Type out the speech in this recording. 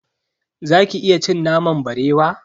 Zaki iya cin naman barewa?